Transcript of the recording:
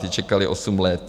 Ti čekali osm let.